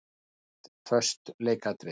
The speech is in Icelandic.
Neikvætt:- Föst leikatriði.